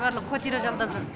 барлығы квартира жалдап жүр